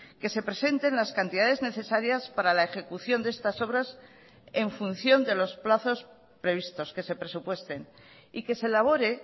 que se presenten las cantidades necesarias para la ejecución de estas obras en función de los plazos previstos que se presupuesten y que se elabore